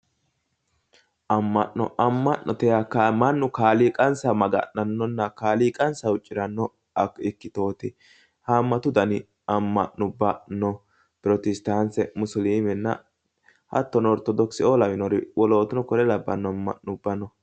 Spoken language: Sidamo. Amma'no amma'note yaa mannu kaaliiqansa maga'nannonna kaaliiqansa huucciranno ikkitooti haammatu dani amma'no no protestaante musliimenna hattono orthodoxe"oo lawinori wolootano kuri labbanno amma'no no